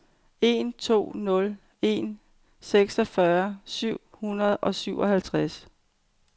en to nul en seksogfyrre syv hundrede og syvoghalvtreds